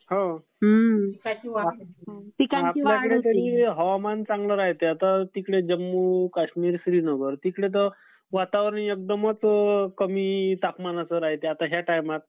आपल्या इथं तरी हवामान चांगलं राहते आता तिकडे जम्मू काश्मीर श्रीनगर तिकडे तर वातावरण एकदमच कमी तापमानाचं राहते आता ह्या टायमात.